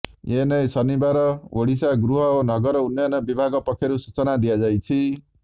ଏନେଇ ଶନିବାର ଓଡ଼ିଶା ଗୃହ ଓ ନଗର ଉନ୍ନୟନ ବିଭାଗ ପକ୍ଷରୁ ସୂଚନା ଦିଆଯାଇଛି